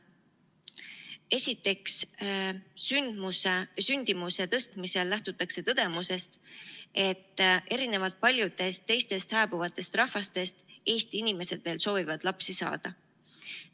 Esiteks, sündimuse tõstmisel lähtutakse tõdemusest, et erinevalt paljudest teistest hääbuvatest rahvastest Eesti inimesed veel soovivad lapsi saada.